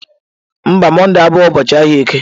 Mba, Mọnde abụghị ụbọọchi ahịa eke.